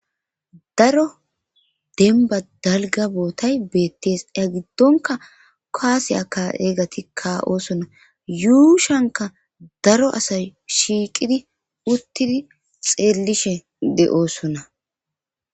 daro denba dalga bootay beettees ya giddonka kaasiyaka eegati ka oosonna yuushanka daro asay shiiqidi uttidi xeellishe de7oosonna